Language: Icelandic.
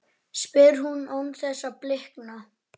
spyr hún án þess að blikna.